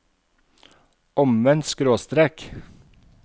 omvendt skråstrek